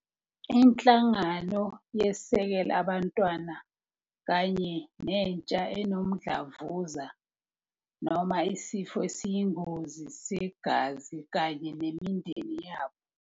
Inhlangano yeseka abantwana kanye nentsha enomdlavuza noma isifo esiyingozi segazi kanye nemindeni yabo.